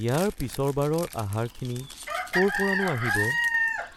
ইয়াৰ পিছৰ বাৰৰ আহাৰখিনি ক'ৰ পৰানো আহিব